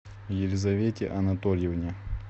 елизавете анатольевне